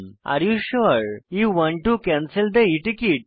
এটি বলে যে আরে you sure you want to cancel the e ticket